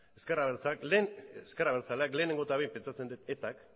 ezker abertzaleak lehen ezker abertzaleak lehenengo eta behin pentsatzen dut etak